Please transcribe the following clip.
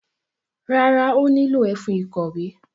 Rárá, ó nílò ẹfun ìkọ̀wé.